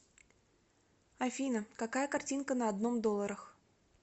афина какая картинка на одном долларах